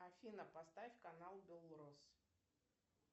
афина поставь канал белрос